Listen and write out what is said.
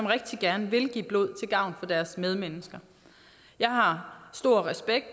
rigtig gerne vil give blod til gavn for deres medmennesker jeg har stor respekt